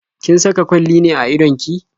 Kin saka kwalli ne a idon ki?